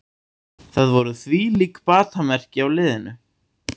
Það voru þvílík batamerki á liðinu